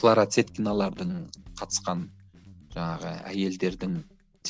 клара цеткиналардың қатысқан жаңағы әйелдердің